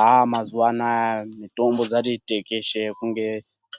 Aaaa mazuwa anaa mitombo dzati tekeshe kunge